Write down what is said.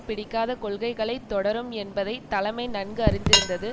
பிடிக்காத கொள்கைகளை தொடரும் என்பதை தலைமை நன்கு அறிந்திருந்தது